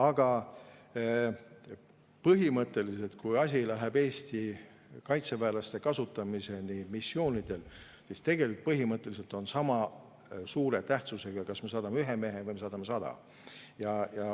Aga põhimõtteliselt, kui asi läheb Eesti kaitseväelaste kasutamiseni missioonidel, siis on sama suure tähtsusega, kas me saadame ühe mehe või me saadame sada.